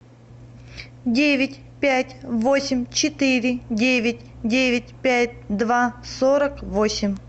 девять пять восемь четыре девять девять пять два сорок восемь